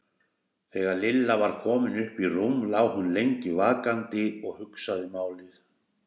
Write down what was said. Þegar Lilla var komin upp í rúm lá hún lengi vakandi og hugsaði málið.